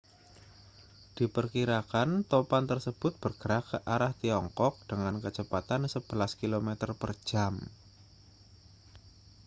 diperkirakan topan tersebut bergerak ke arah tiongkok dengan kecepatan sebelas kilometer per jam